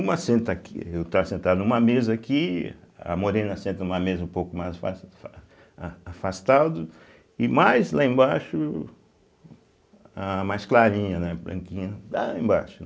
Uma senta aqui, eu estava sentado numa mesa aqui, a Morena senta numa mesa um pouco mais afas fa a afastado, e mais lá embaixo, a mais clarinha, né, branquinha, lá embaixo, né.